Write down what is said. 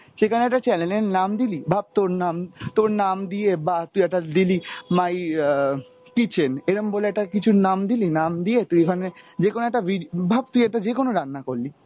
সেখানে একটা channel এর নাম দিল, ভাব তোর নাম, তোর নাম দিয়ে বা তুই একটা দিলি my আহ kitchen এরম বলে একটা কিছুর নাম দিলি, নাম দিয়ে তুই ওখানে যেকোনো একটা ভিড, ভাব তুই একটা যে কোন রান্না করলি,